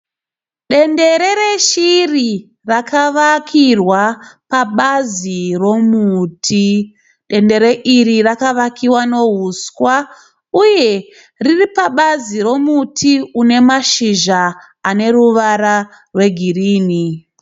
Dendere reshiri rakavakirwa pabazi romuti, dendere iri rakavakiwa nouswa uye riri pabazi romuti une mashizha ane ruvara rwegirini.